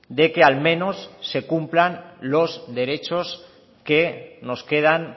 de que al menos se cumplan los derechos que nos quedan